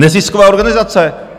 Nezisková organizace.